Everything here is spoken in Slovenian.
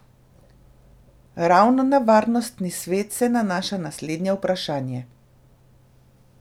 Ravno na Varnostni svet se nanaša naslednje vprašanje.